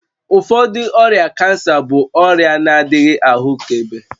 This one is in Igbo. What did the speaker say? Ụfọdụ ọrịa cancer bụ ọrịa na-adịghị ahụkebe